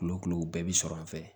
Kulo kilo bɛɛ bi sɔrɔ an fɛ yen